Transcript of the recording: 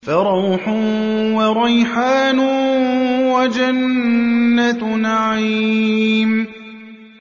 فَرَوْحٌ وَرَيْحَانٌ وَجَنَّتُ نَعِيمٍ